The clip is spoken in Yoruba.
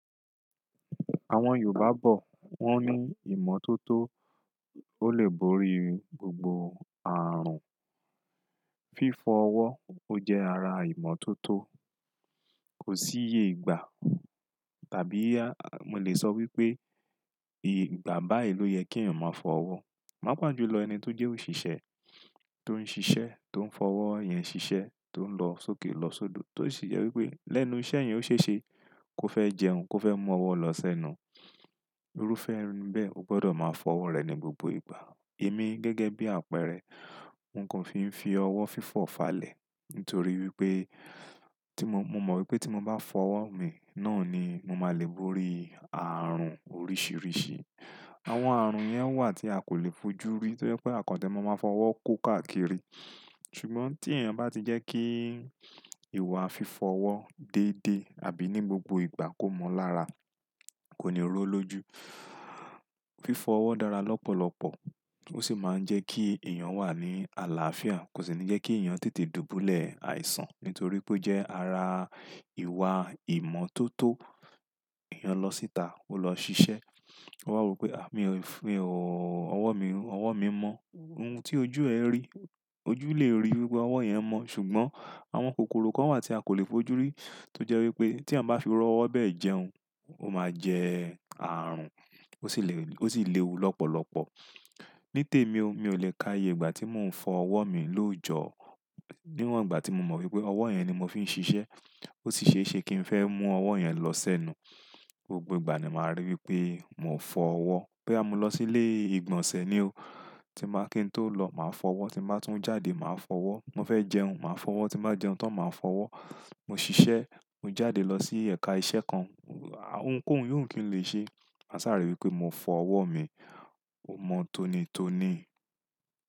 Àwọn Yorùbá bọ̀, wọ́n ní ìmọ́tótó, ó lè borí gbogbo ààrùn. Fífọ ọwọ́, ó jẹ́ ara ìmọ́tótó. Kò sí iye ìgbà tàbí a, mo lè sọ wípé ìgbà bá èlò yẹ kí èèyàn máa fọ ọwọ́. Pápá jù lọ ẹni tó ń jẹ òṣìṣẹ́, tó ń ṣiṣẹ́, tó ń fọwọ́ yẹn ṣiṣẹ́, tó ń lọ sókè lọ sódò, tó sì jẹ́ wípé lẹ́nu iṣẹ́ yẹn ó ṣe ṣe kó fẹ́ jẹun, kó fẹ́ mú ọwọ́ lọ sẹ́nu. Irúfẹ́ ẹnìbẹ̀, o gbọdọ̀ máa fọ ọwọ́ rẹ ní gbogbo ìgbà. Èmi gẹ́gẹ́ bí àpẹẹrẹ, n kò fi ń fi ọwọ́ fífọ̀ falẹ̀ nítorí wípé tí mo, mo mọ wípé tí mo bá fọ ọwọ́ mi náà ni mo máa le borí ààrùn oríṣìíríṣìí. Àwọn ààrùn yẹn wà tí a kò lè fojú rí tó jẹ́ pé àkọ́ńtẹ́ mo máa fọ ọwọ́ kó káàkiri. Ṣùgbọ́n tí èèyàn bá ti jẹ́ kí ìwà fífọ ọwọ́ dédé àbí ní gbogbo ìgbà kó mọ lára, kò ní rọ̀ ọ lóju. Fífọ ọwọ́ dára lọ́pọ̀lọpọ̀, ó sì máa ń jẹ́ kí èèyàn wà ní àlàáfíà, kò sì ní jẹ́ kí èèyàn tètè dùbúlẹ̀ àìsàn nítorí pé ó jẹ́ ara ìwà ìmọ́tótó. Ìyán lọ síta, ó lọ ṣiṣẹ́. Ó wá wo pé, "à mí ò fi òóò ọwọ́ mi, ọwọ́ mi mọ́." Ohun tí ojú ẹ rí, ojú lè rí wípé ọwọ́ yẹn mọ́ ṣùgbọ́n àwọn kòkòrò kan wà tí a kò lè fojú rí tó jẹ́ wípé tí à bá fi ọwọ́ bẹ́ẹ̀ jẹun, ó máa jẹ ààrùn, ó sì lè, ó sì léwu lọ́pọ̀lọpọ̀. Ní tèmi o, mi ò lè ka iye ìgbà tí mò ń fọ ọwọ́ mi lóojọ́. Níwọ̀n ìgbà tí mo mọ̀ wípé ọwọ́ yẹn ni mo fi ń ṣiṣẹ́, ó sì ṣe é ṣe kí ń fẹ́ mú ọwọ́ yẹn lọ sẹ́nu. Gbogbo ìgbà ni màá rí wípé mò ń fọ ọwọ́. Bí a mo lọ sí ilé ìgbọ̀nsẹ̀ ni o, tí máa kí n tó lọ, màá fọ ọwọ́, tí màá tún jáde, màá fọ ọwọ́, mo fẹ́ jẹun, màá fọ ọwọ́, tí màá jẹun tán, màá fọ ọwọ́. Mo ṣiṣẹ́, mo jáde lọ sí ẹ̀ka iṣẹ́ kan, à, ohunkóhun yóò òun kí ń lè ṣe. A sáà rí wípé mò ń fọ ọwọ́ mi, ó mọ́ tónítóní.